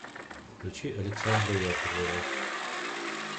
включи александра яковлева